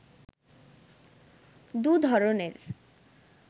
দু’ধরণের